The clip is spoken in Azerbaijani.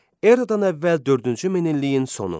Eradan əvvəl dördüncü min illiyin sonu.